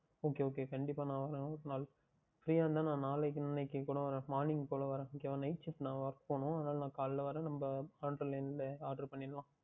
Okay Okay கண்டிப்பாக நான் வருகின்றேன் ஒருநாள் Free யாக இருந்தால் நான் நாளைக்கு இன்றைக்கு கூட Morning போல் வருகின்றேன் Night Shift நான் போகவேண்டும் அதுனால் நான் காலையில் வருகின்றேன் நாம் Online லேயே Oder பண்ணிக்கொள்ளலாம்